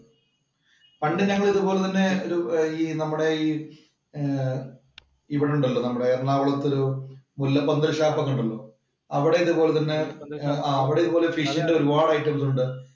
പണ്ട് ഞങ്ങൾ ഇതുപോലെ തന്നെ നമ്മുടെ ഈ ഇവിടുണ്ടല്ലോ നമ്മുടെ എറണാകുളത്ത് ഒരു മുല്ലപ്പന്തൽ ഷാപ്പ് ഒക്കെ ഉണ്ടല്ലോ. അവിടെ ഇതുപോലെ തന്നെ അവിടെ ഫിഷിന്‍റെ ഒരുപാട് ഐറ്റംസ് ഉണ്ട്.